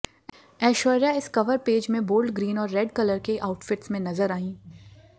ऐश्वर्या इस cover page में bold green और रेड कलर के आउटफिट्स में नजर आईं